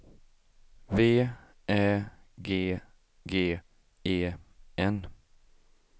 V Ä G G E N